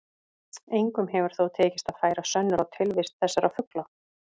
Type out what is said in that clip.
Engum hefur þó tekist að færa sönnur á tilvist þessara fugla.